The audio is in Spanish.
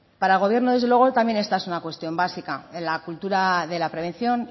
para el gobierno desde luego también esta es una cuestión básica en la cultura de la prevención